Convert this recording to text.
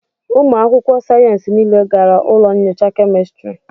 ụmụ akwụkwọ sayensị niile gara ụlọ nyocha kemịstri